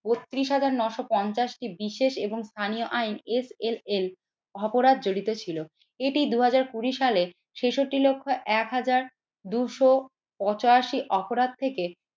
বত্রিশ হাজার নয়শো পঞ্চাশটি বিশেষ এবং স্থানীয় আইন SLL অপরাধ জড়িত ছিল। এটি দুই হাজার কুড়ি সালে ছেষট্টি লক্ষ এক হাজার দুশো পঁচাশি অপরাধ থেকে